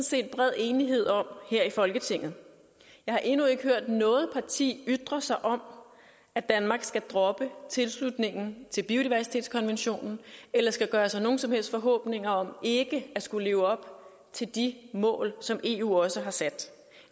set er bred enighed om her i folketinget jeg har endnu ikke hørt noget parti ytre sig om at danmark skal droppe tilslutningen til biodiversitetskonventionen eller skal gøre sig nogen som helst forhåbninger om ikke at skulle leve op til de mål som eu også har sat